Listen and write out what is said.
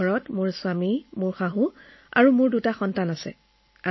মোৰ ঘৰত মোৰ স্বামী শাহুৱেক আৰু মোৰ সন্তান দুটা আছে